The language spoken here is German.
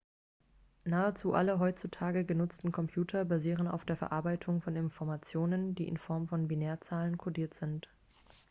nahezu alle heutzutage genutzten computer basieren auf der verarbeitungen von informationen die in form von binärzahlen codiert sind